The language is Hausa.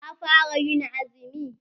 Ka fara ƴin azumi?